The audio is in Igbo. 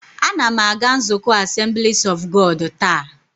A na m aga nzukọ Assemblies of God taa